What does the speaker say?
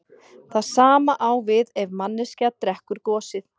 Það sama á við ef manneskja drekkur gosið.